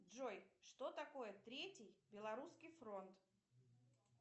джой что такое третий белорусский фронт